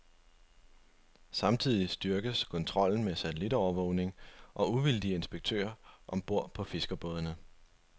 Samtidig styrkes kontrollen med satellitovervågning og uvildige inspektører om bord på fiskerbådene.